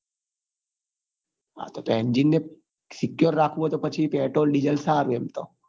હા તો તો engine ને secure રાખવું હોય તો પછી petrol diesel સારું એમ તો